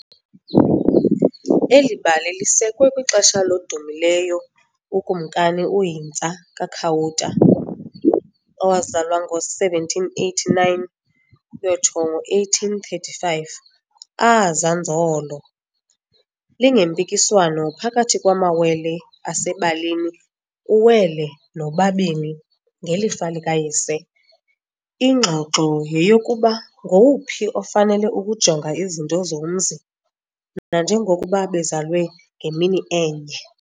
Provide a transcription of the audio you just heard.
Eli bali lisekwe kwixesha lodumileyo uKumkani uHintsa kaKhawuta owazalwa ngo-1789 ukuyotsho ngo-1835. Aah, Zanzolo !!!, lingempikiswano phakathi kwamawele asebalini uWele noBabini ngelifa likayise. Ingxoxo yeyokuba ngowuphi ofanele ukujonga izinto zomzi, nanjengokuba bezalwe ngemini enye.